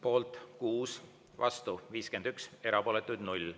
Poolt on 6, vastu 51, erapooletuid on 0.